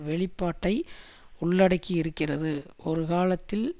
வெளிப்பாட்டை உள்ளடக்கி இருக்கிறது ஒரு காலத்தில்